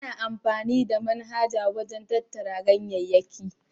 Ana amfani da manjagara wajen tattara ganyayyaki.